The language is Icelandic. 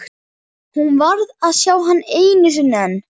Hún varð að sjá hann einu sinni enn.